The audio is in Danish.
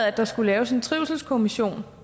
at der skulle laves en trivselskommission